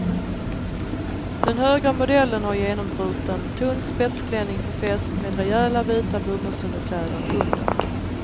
Den högra modellen har genombruten tunn spetsklänning för fest med rejäla vita bomullsunderkläder under.